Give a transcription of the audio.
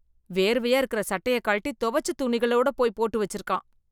வேர்வையா இருக்கிற சட்டையக் கழட்டி தொவச்ச துணிகளோட போய் போட்டு வச்சிருக்கான்.